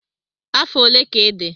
Afọ ole ka ịdị?